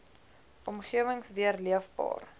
omgewings weer leefbaar